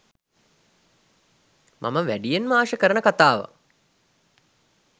මම වැඩියෙන්ම ආශා කරන කතාවක්